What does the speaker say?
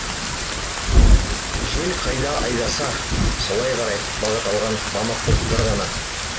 жел қайда айдаса солай қарай бағыт алған мамық бұлттар ғана